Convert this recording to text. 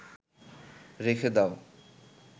রেখে দাও